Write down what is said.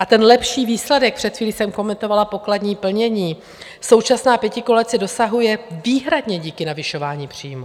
A ten lepší výsledek, před chvílí jsem komentovala pokladní plnění, současná pětikoalice dosahuje výhradně díky navyšování příjmů.